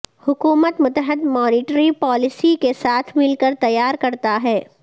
حکومت متحد monetary policy کے ساتھ مل کر تیار کرتا ہے